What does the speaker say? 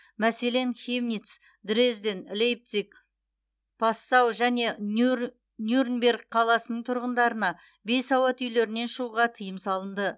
мәселен хемнитц дрезден лейпциг пассау және нюрнберг қаласының тұрғындарына бейсауат үйлерінен шығуға тыйым салынды